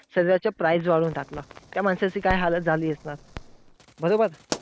सगळ्याच्या price वाढवून टाकल्या. त्या माणसाची काय हालत झाली असणार. बरोबर!